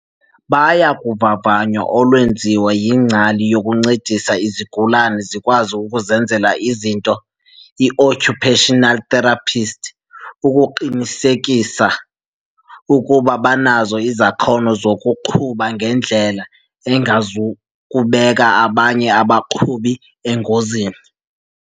"Baya kuvavanyo olwenziwa yingcali yokuncedisa izigulane zikwazi ukuzenzela izinto, i-occupational therapist, ukuqinisekisa ukuba banazo izakhono zokuqhuba ngendlela engazikubeka abanye abaqhubi engozini."